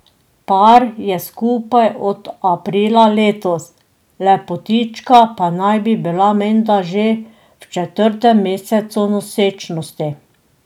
Par je skupaj od aprila letos, lepotička pa naj bi bila menda že v četrtem mesecu nosečnosti.